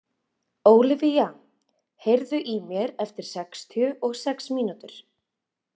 Ólivía, heyrðu í mér eftir sextíu og sex mínútur.